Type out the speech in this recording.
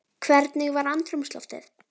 Hvernig var andrúmsloftið?